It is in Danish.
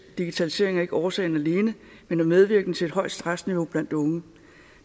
digitalisering er ikke årsagen alene men er medvirkende til et højt stressniveau blandt unge